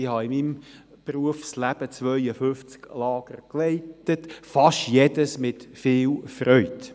Ich habe in meinem Berufsleben 52 Lager geleitet, fast jedes mit viel Freude.